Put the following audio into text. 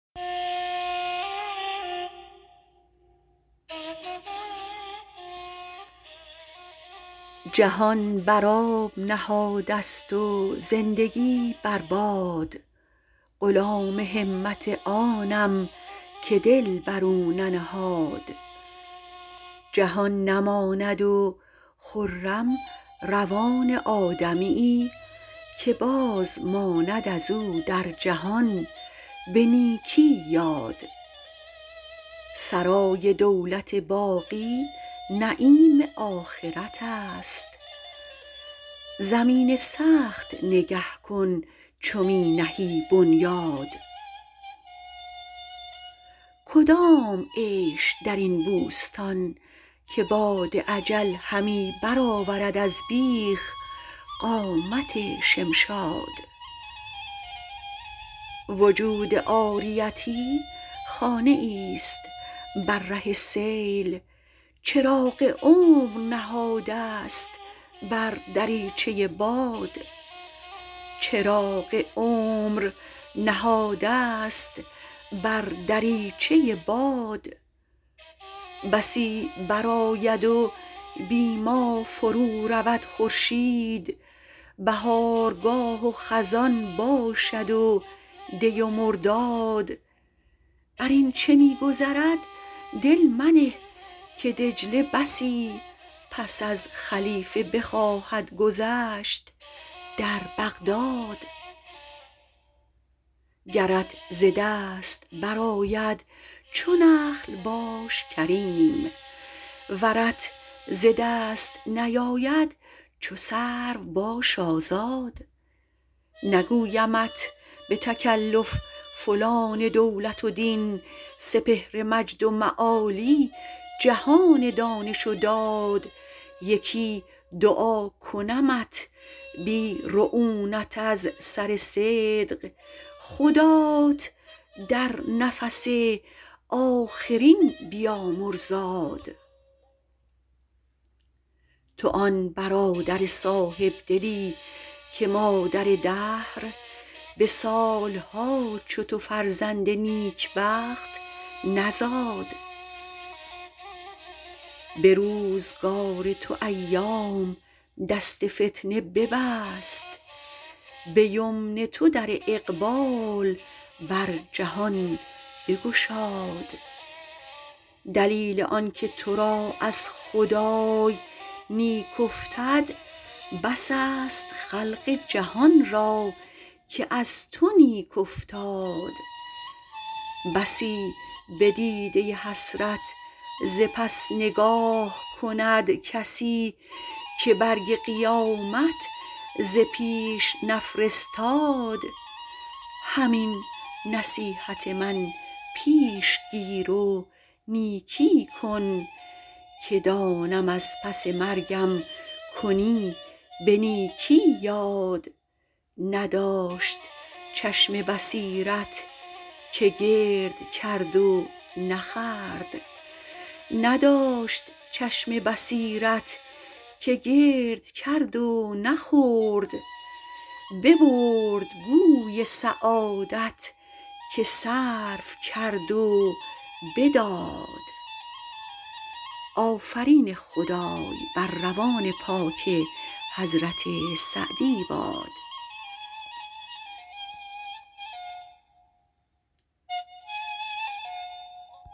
جهان بر آب نهاده ست و زندگی بر باد غلام همت آنم که دل بر او ننهاد جهان نماند و خرم روان آدمیی که باز ماند از او در جهان به نیکی یاد سرای دولت باقی نعیم آخرت است زمین سخت نگه کن چو می نهی بنیاد کدام عیش در این بوستان که باد اجل همی برآورد از بیخ قامت شمشاد وجود عاریتی خانه ایست بر ره سیل چراغ عمر نهاده ست بر دریچه باد بسی برآید و بی ما فرو رود خورشید بهارگاه و خزان باشد و دی و مرداد بر این چه می گذرد دل منه که دجله بسی پس از خلیفه بخواهد گذشت در بغداد گرت ز دست برآید چو نخل باش کریم ورت ز دست نیاید چو سرو باش آزاد نگویمت به تکلف فلان دولت و دین سپهر مجد و معالی جهان دانش و داد یکی دعا کنمت بی رعونت از سر صدق خدات در نفس آخرین بیامرزاد تو آن برادر صاحبدلی که مادر دهر به سالها چو تو فرزند نیکبخت نزاد به روزگار تو ایام دست فتنه ببست به یمن تو در اقبال بر جهان بگشاد دلیل آنکه تو را از خدای نیک افتد بس است خلق جهان را که از تو نیک افتاد بسی به دیده حسرت ز پس نگاه کند کسی که برگ قیامت ز پیش نفرستاد همین نصیحت من پیش گیر و نیکی کن که دانم از پس مرگم کنی به نیکی یاد نداشت چشم بصیرت که گرد کرد و نخورد ببرد گوی سعادت که صرف کرد و بداد